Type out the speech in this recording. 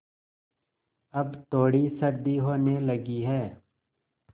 अब थोड़ी सर्दी होने लगी है